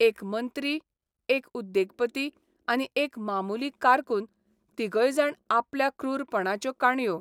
एक मंत्री, एक उद्येगपती आनी एक मामुली कारकून तिगयजाण आपल्या क्रूरपणाच्यो काणयो